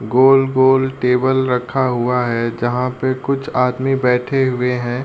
गोल गोल टेबल रखा हुआ है। जहाँ पे कुछ आदमी बैठे हुए हैं।